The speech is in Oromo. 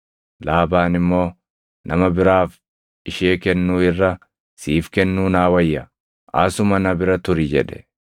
Laabaan immoo, “Nama biraaf ishee kennuu irra siif kennuu naa wayya; asuma na bira turi” jedhe.